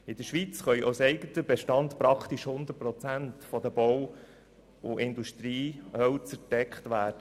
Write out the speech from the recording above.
In der Schweiz kann der Bedarf an Bau- und Industriehölzern praktisch zu 100 Prozent aus eigenen Beständen gedeckt werden.